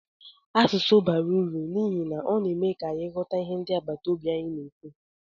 Asụsụ bara uru n'ihi na ọ na-eme ka anyị ghọta ihe ndị agbataobi anyị na-ekwu.